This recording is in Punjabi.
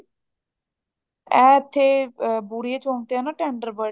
ਐ ਇੱਥੇ ਬੁੜਿਆ ਚੋਂਕ ਤੇ ਹੈ ਨਾ tender birds